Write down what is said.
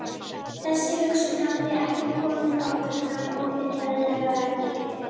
Þessi hugsun hafði ekki komið áður fram opinberlega í